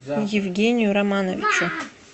евгению романовичу